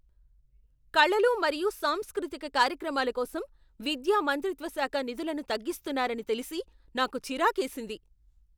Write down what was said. కళలు మరియు సాంస్కృతిక కార్యక్రమాల కోసం విద్యా మంత్రిత్వ శాఖ నిధులను తగ్గిస్తున్నారని తెలిసి నాకు చిరాకేసింది.